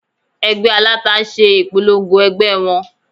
Ẹgbẹ́ aláta ń ṣe ìpolongo ẹgbẹ́ wọn